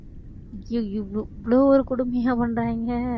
ஐயையோ இவ்ளோ இவ்வளவு ஒரு கொடுமையா பண்றாங்க